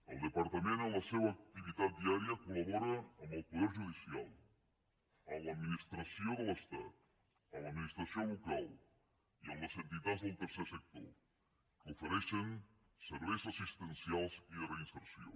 el departament en la seua activitat diària colel poder judicial amb l’administració de l’estat amb l’administració local i amb les entitats del tercer sector que ofereixen serveis assistencials i de reinserció